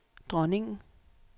dronningen